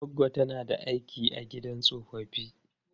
Goggo ta tana aiki a gidan tsofaffi.